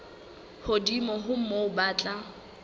hodimo ho moo ba tla